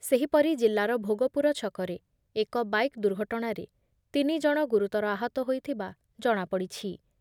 ସେହିପରି ଜିଲ୍ଲାର ଭୋଗପୁର ଛକରେ ଏକ ବାଇକ୍ ଦୁର୍ଘଟଣାରେ ତିନି ଜଣ ଗୁରୁତର ଆହତ ହୋଇଥିବା ଜଣାପଡ଼ିଛି ।